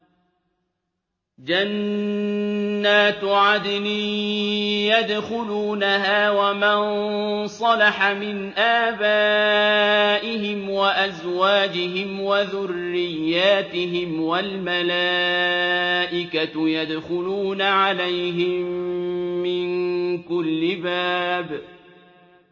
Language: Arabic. جَنَّاتُ عَدْنٍ يَدْخُلُونَهَا وَمَن صَلَحَ مِنْ آبَائِهِمْ وَأَزْوَاجِهِمْ وَذُرِّيَّاتِهِمْ ۖ وَالْمَلَائِكَةُ يَدْخُلُونَ عَلَيْهِم مِّن كُلِّ بَابٍ